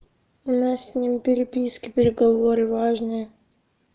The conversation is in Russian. у нас с ним переписки переговоры важные